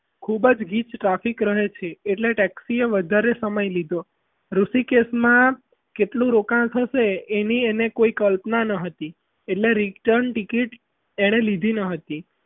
ખૂબ જ ગીચ traffic રહે છે એટલે texi એ વધારે સમય લીધો ઋષિકેશમાં જેટલું રોકાણ થશે એની એને કોઈ કલ્પના ન હતી એની return એણે લીધી ન હતી.